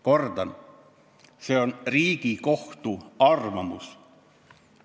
" Kordan: see on Riigikohtu arvamus.